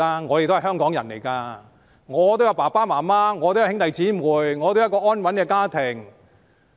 我是香港人，我有父母親、有兄弟姊妹，我也有一個安穩的家庭"。